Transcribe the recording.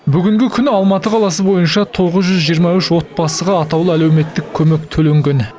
бүгінгі күні алматы қаласы бойынша тоғыз жүз жиырма үш отбасыға атаулы әлеуметтік көмек төленген